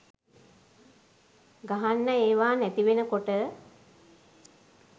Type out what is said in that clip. ගහන්න ඒවා නැතිවෙනකොට